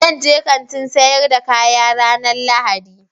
Zan je Kantin sayar da kaya ranan lahadi